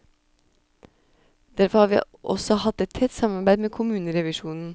Derfor har vi også hatt et tett samarbeid med kommunerevisjonen.